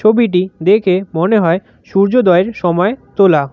ছবিটি দেখে মনে হয় সূর্যোদয়ের সময় তোলা।